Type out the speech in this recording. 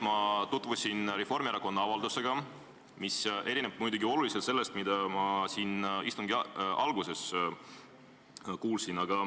Ma tutvusin Reformierakonna fraktsiooni avaldusega, mis erineb oluliselt sellest, mida ma siin istungi alguses kuulsin.